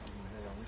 Yanlış olub.